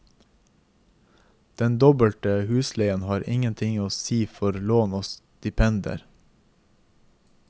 Den doble husleien har ingenting å si for lån og stipendier.